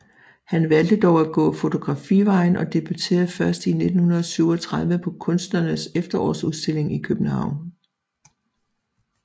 Han valgte dog at gå fotografivejen og debuterede først i i 1937 på Kunstnernes Efterårsudstilling i København